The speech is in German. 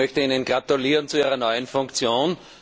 Ich möchte Ihnen gratulieren zu Ihrer neuen Funktion.